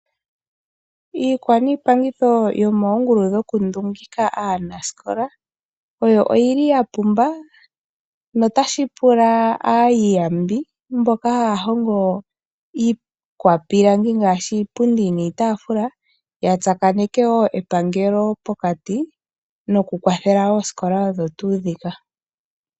Iikwa niipangitho yomoongulu dhoku ndungika aanasikola oya pumba. Onkene ota shipula aayiyambi mboka haya hongo iikwa pilangi ngaashi iipundi niitaafula yatsakaneke woo epangelo mokati noku kwathela oosikola odho tuu ndhika.